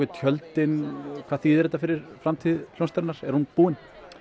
tjöldin hvað þýðir þetta fyrir framtíð hljómsveitarinnar er hún búin